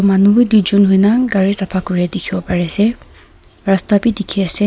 manu bhi doi jon hoina gari sefa kori dekhi bo pari ase rasta bhi dekhi ase.